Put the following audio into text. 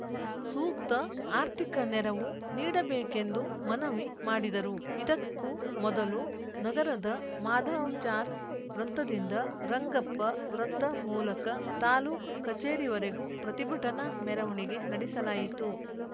ಸೂಕ್ತ ಆರ್ಥಿಕ ನೆರವು ನೀಡಬೇಕೆಂದು ಮನವಿ ಮಾಡಿದರು ಇದಕ್ಕೂ ಮೊದಲು ನಗರದ ಮಾಧವಚಾರ್‌ ವೃತ್ತದಿಂದ ರಂಗಪ್ಪ ವೃತ್ತ ಮೂಲಕ ತಾಲೂಕು ಕಚೇರಿವರೆಗೂ ಪ್ರತಿಭಟನಾ ಮೆರವಣಿಗೆ ನಡೆಸಲಾಯಿತು